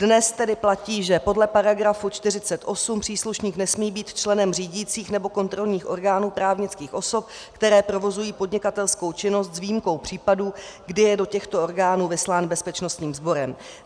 Dnes tedy platí, že podle § 48 příslušník nesmí být členem řídících nebo kontrolních orgánů právnických osob, které provozují podnikatelskou činnost, s výjimkou případů, kdy je do těchto orgánů vyslán bezpečnostním sborem.